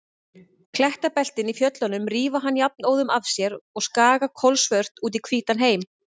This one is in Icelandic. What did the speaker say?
Klettabeltin í fjöllunum rífa hann jafnóðum af sér og skaga kolsvört út í hvítan heim.